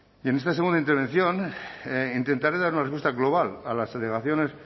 y en esta segunda intervención intentaré dar una respuesta global a las alegaciones